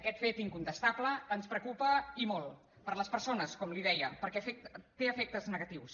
aquest fet incontestable ens preocupa i molt per les persones com li deia perquè té efectes negatius